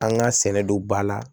An ka sɛnɛ don ba la